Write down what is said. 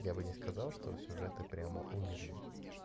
я бы не сказал что сюжеты прямо умерли